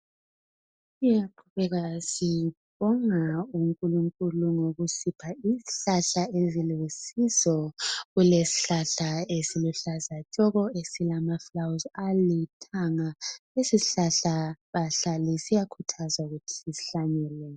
Siyaqhubeka sibonga uNkulunkulu ngokusipha izihlahla ezilusizo. Kulesihlahla esiluhlaza tshoko esilamafulawuzi alithanga. Lesisihlahla bahlali siyakhuthazwa ukuthi sisihlanyele.